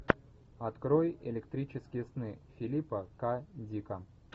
открой электрические сны филипа к дика